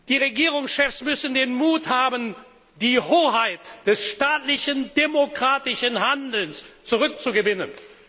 Die Regierungschefs müssen den Mut haben, die Hoheit des staatlichen, demokratischen Handelns zurückzugewinnen.